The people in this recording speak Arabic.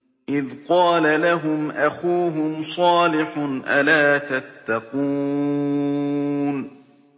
إِذْ قَالَ لَهُمْ أَخُوهُمْ صَالِحٌ أَلَا تَتَّقُونَ